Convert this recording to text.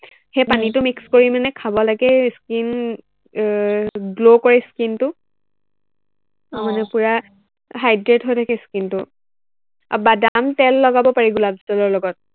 সেই পানীটো mix কৰি মানে খাব লাগে, skin আহ glow কৰে skin টো মানে পূৰা hydrate হৈ থাকে skin টো, আৰু বাদাম তেল লগাব পাৰি গোলাপ জলৰ লগত